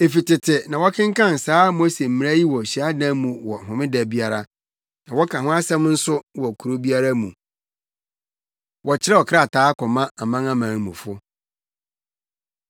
Efi tete na wɔkenkan saa Mose mmara yi wɔ hyiadan mu wɔ Homeda biara, na wɔka ho nsɛm nso wɔ kurow biara mu.” Wɔkyerɛw Krataa Kɔma Amanamanmufo